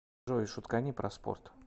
джой шуткани про спорт